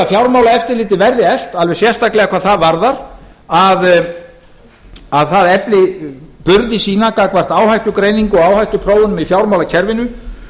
fjármálaeftirlitið verði eflt alveg sérstaklega hvað það varðar að það efli burði sína gagnvart áhættugreiningu og áhættuþróun í fjármálakerfinu